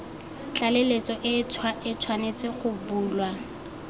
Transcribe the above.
tlaleletso e tshwanetse go bulwa